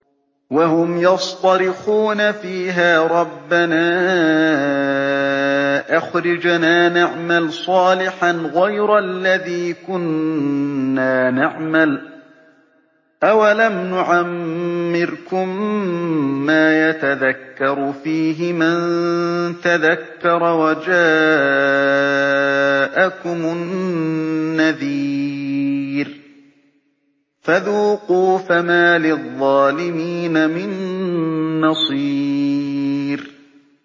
وَهُمْ يَصْطَرِخُونَ فِيهَا رَبَّنَا أَخْرِجْنَا نَعْمَلْ صَالِحًا غَيْرَ الَّذِي كُنَّا نَعْمَلُ ۚ أَوَلَمْ نُعَمِّرْكُم مَّا يَتَذَكَّرُ فِيهِ مَن تَذَكَّرَ وَجَاءَكُمُ النَّذِيرُ ۖ فَذُوقُوا فَمَا لِلظَّالِمِينَ مِن نَّصِيرٍ